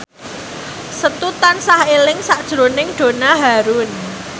Setu tansah eling sakjroning Donna Harun